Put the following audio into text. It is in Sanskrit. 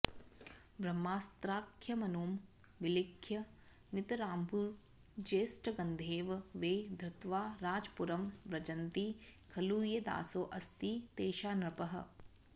ब्रह्मास्त्राख्यमनुं विलिख्य नितराम्भूर्जेष्टगन्धेन वै धृत्वा राजपुरं व्रजन्ति खलु ये दासोऽस्ति तेषान्नृपः